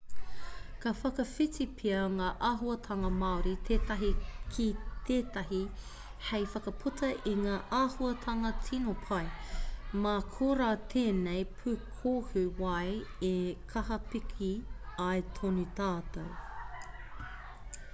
ka whakawhiti pea ngā āhuatanga māori tētahi ki tētahi hei whakaputa i ngā āhuatanga tino pai mā korā tēnei pūkohu wai e kaha piki ai tōna tatau